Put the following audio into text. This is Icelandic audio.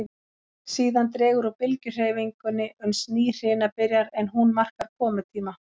Síðan dregur úr bylgjuhreyfingunni uns ný hrina byrjar, en hún markar komutíma